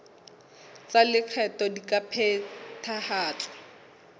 tsa lekgetho di ka phethahatswa